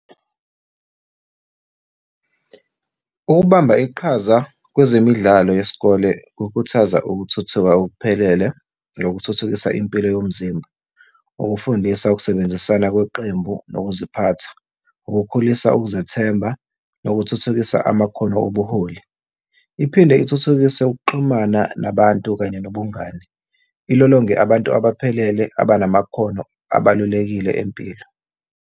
Ukubamba iqhaza kwezemidlalo yesikole kukhuthaza ukuthuthuka okuphelele nokuthuthukisa impilo yomzimba, ukufundisa, ukusebenzisana kweqembu nokuziphatha, ukukhulisa, ukuzethemba nokuthuthukisa amakhono obuholi. Iphinde ithuthukise ukuxhumana nabantu kanye nobungane, ilolonge abantu abaphelele abanamakhono abalulekile empilo.